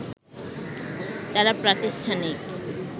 তারা প্রাতিষ্ঠানিক